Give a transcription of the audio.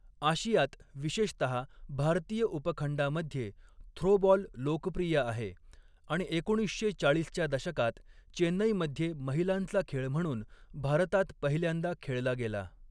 आशियात विशेषतहा भारतीय उपखंडामध्ये थ्रोबॉल लोकप्रिय आहे आणि एकोणीसशे चाळीसच्या दशकात चेन्नईमध्ये महिलांचा खेळ म्हणून भारतात पहिल्यांदा खेळला गेला.